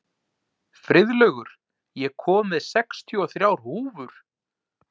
Friðlaugur, ég kom með sextíu og þrjár húfur!